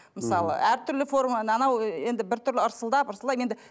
мысалы әртүрлі форма анау енді біртүрлі ырсылдап ырсылдап енді